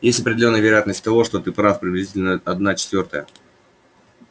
есть определённая вероятность того что ты прав приблизительно одна четвёртая